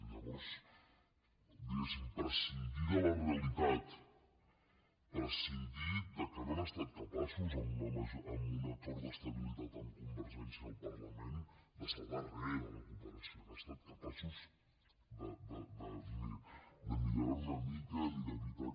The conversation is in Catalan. llavors diguéssim prescindir de la realitat prescindir que no han estat capaços amb un acord d’estabilitat amb convergència al parlament de salvar re de la cooperació no han estat capaços de millorar ho una mica ni d’evitar que